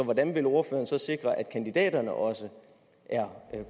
hvordan vil ordføreren sikre at kandidaterne også er